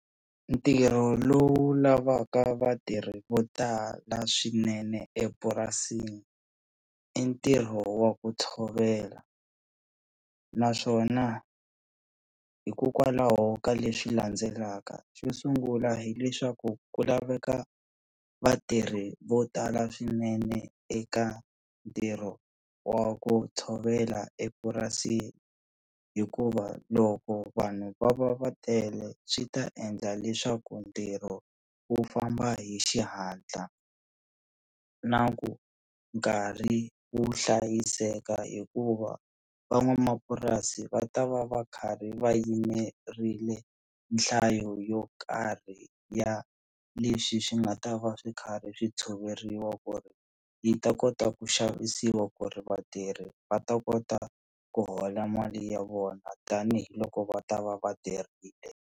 Ntirho lowu lavaka vatirhi vo tala swinene epurasini i ntirho wa ku tshovela naswona hikokwalaho ka leswi landzelaka xo sungula hileswaku ku laveka vatirhi vo tala swinene eka ntirho wa ku tshovela epurasini, hikuva loko vanhu va va va tele swi ta endla leswaku ntirho wu famba hi xihatla na ku nkarhi wu hlayiseka hikuva van'wamapurasi va ta va va karhi va yimerile nhlayo yo karhi ya leswi swi nga ta va swi karhi swi tshoveriwa ku ri yi ta kota ku xavisiwa ku ri vatirhi va ta kota ku hola mali ya vona tanihiloko va ta va va tirhile.